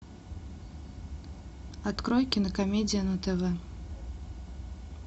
открой кинокомедия на тв